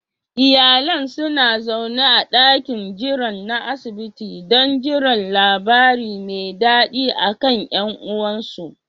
Iyalan suna zaune a dakin jiran na asibiti don jiran labari me dadi akan yan uwansu